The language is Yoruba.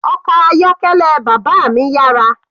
Ọkọ̀ ayọ́kẹ́lẹ́ bàbá mi yára.